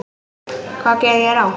Hvað gerði ég rangt?